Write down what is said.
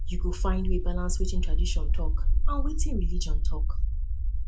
you go find way balance wetin tradition talk and wetin religion talk